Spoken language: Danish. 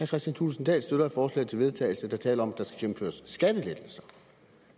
kristian thulesen dahl støtter et forslag til vedtagelse der taler om at der skal gennemføres skattelettelser